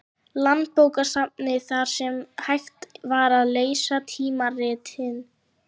Landsbókasafninu, þar sem hægt var að lesa tímaritin.